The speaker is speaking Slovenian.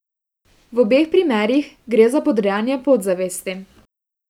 V obeh primerih gre za podrejanje podzavesti!